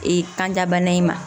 Ee kanjabana in ma